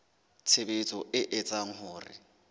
tshebetso e etsang hore ho